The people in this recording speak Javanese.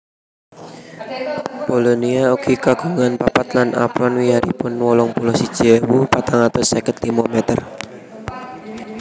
Polonia ugi kagungan papat lan apron wiyaripun wolung puluh siji ewu patang atus seket limo meter